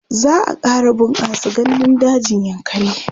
za'a ƙara bunƙasa gandun dajin yankari